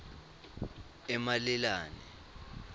emalelane